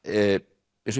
eins og